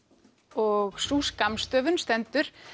og sú skammstöfun stendur